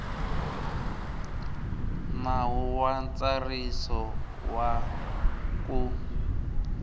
nawu wa ntsariso wa ku